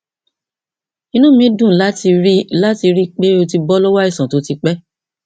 inú mi dùn láti rí láti rí i pé o ti bọ lọwọ àìsàn tó ti pẹ